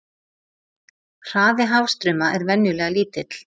Hraði hafstrauma er venjulega lítill.